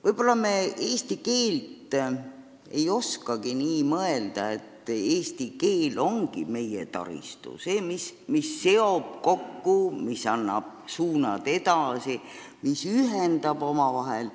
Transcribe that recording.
Võib-olla me tõesti ei oskagi nii mõelda, et eesti keel ongi meie taristu – see, mis seob kokku, mis annab edasimineku suunad, mis ühendab omavahel.